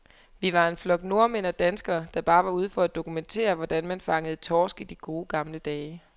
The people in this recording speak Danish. Vi var en flok nordmænd og danskere, der bare var ude for at dokumentere, hvordan man fangede torsk i de gode, gamle dage.